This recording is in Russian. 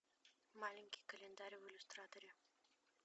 маленький календарь в иллюстраторе